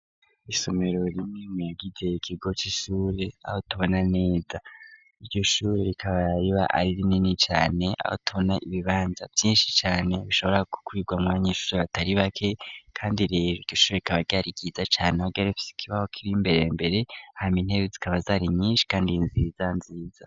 Isomero rimwe muyagize ikigo c'ishure, aho tubona neza. Iryo shure rikaba riba ari rinini cane, aho tubona ibibanza vyinshi cane bishobora gukwirwamwo abanyeshure batari bake kandi rero iryo shure rikaba ryari ryiza cane ,aho ryari rifise ikibaho kiri imbere mbere, hama intebe zikaba zari nyinshi kandi nziza nziza.